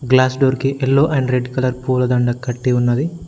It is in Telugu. గ్లాస్ డోర్ కి ఎల్లో అండ్ రెడ్ కలర్ పూలదండ కట్టి ఉన్నది.